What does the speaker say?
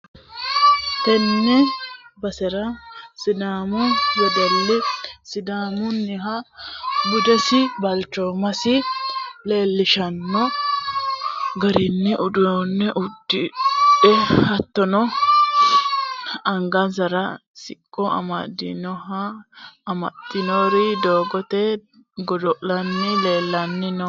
tenne basera sidaamu wedelli sidaamunnoiha budesinna balchoomasi leellishshanno garinni uddano uddidhe hattono, angasara sicco sidaamunniha amaxxitinori doogote godo'litanni leeltanni no.